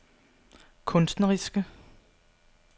kunstneriske